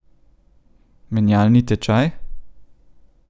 Menjalni tečaj?